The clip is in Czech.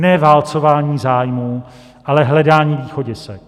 Ne válcování zájmů, ale hledání východisek.